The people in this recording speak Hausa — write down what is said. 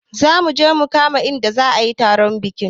Zamuje mu kama inda za ayi taron bikin